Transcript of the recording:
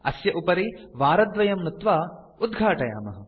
अस्य उपरि वारद्वयं नुत्वा उद्घाटयामः